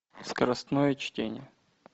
скоростное чтение